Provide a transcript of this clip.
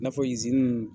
I n'a fɔ